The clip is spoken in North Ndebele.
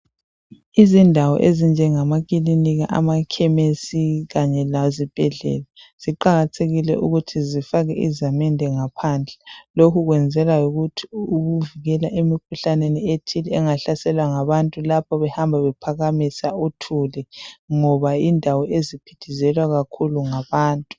Izindawo ezinjengamakilinika amakhemesi kanye lezibhedlela ziqakathekile ukuthi zifakwe izamende ngaphandle lokhu kwenzelwa ukuvikela emikhuhlane ethile engahlasela ngabantu lapho behamba bephakamisa uthuli ngoba yindawo eziphithizela kakhulu ngabantu.